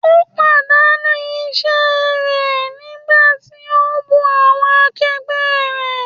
Ó pàdánù iṣẹ́ rẹ̀ nígbà tí ó ń bú awọn akẹgbẹ́ rẹ̀.